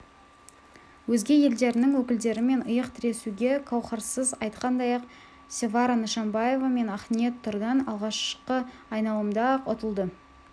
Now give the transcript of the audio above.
өзге елдерінің өкілдерімен иық тіресуге қауһарсыз айтқандай-ақ севара нышанбаева мен ақниет тұрдан алғашқы айналымда-ақ ұтылды